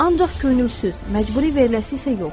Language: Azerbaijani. Ancaq könülsüz, məcburi veriləsi isə yox.